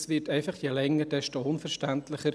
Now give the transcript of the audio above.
Es wird je länger desto unverständlicher.